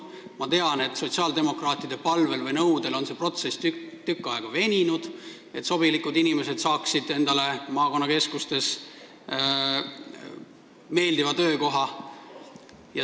Ma tean, et sotsiaaldemokraatide palvel või nõudel on see protsess tükk aega veninud, et sobilikud inimesed saaksid endale maakonnakeskustes meeldiva töökoha.